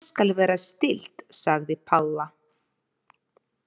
Ég skal vera stillt sagði Palla.